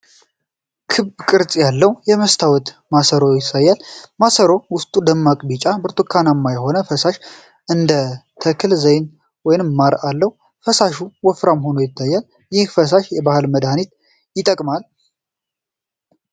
ክብ ቅርጽ ያለው የመስታወት ማሰሮ ያሳያል። ማሰሮው ውስጡ ደማቅ ቢጫ/ብርቱካንማ የሆነ ፈሳሽ (እንደ ተክል ዘይት ወይም ማር) አለው። ፈሳሹ ወፍራም ሆኖ ይታያል። ይህ ፈሳሽ በባህል መድሃኒትነት ይጠቅማል?